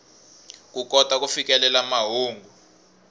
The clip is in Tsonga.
ku kota ku fikelela mahungu